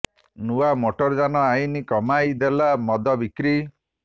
ନୂଆ ମୋଟର ଯାନ ଆଇନ କମାଇ ଦେଲା ମଦ ବିକ୍ରି